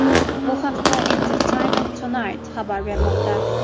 Bu haqda Entertainment Tonight xabar bermoqda .